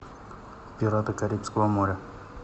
пираты карибского моря